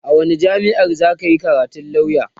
a wani jamia'a zaka Yi karatun lauya?